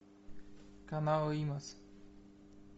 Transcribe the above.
канал имос